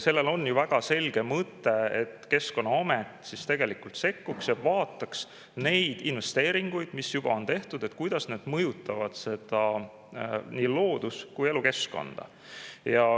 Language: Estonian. Sellel on ju väga selge mõte: et Keskkonnaamet sekkuks ja vaataks investeeringuid, mis on juba tehtud, seda, kuidas need mõjutavad nii loodus- kui elukeskkonda.